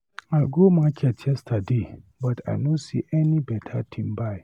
I go market yesterday but I know see any better thing buy.